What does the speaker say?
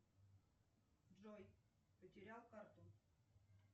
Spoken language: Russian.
джой потерял карту